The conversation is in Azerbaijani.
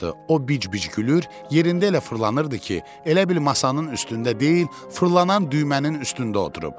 O bic-bic gülür, yerində elə fırlanırdı ki, elə bil masanın üstündə deyil, fırlanan düymənin üstündə oturub.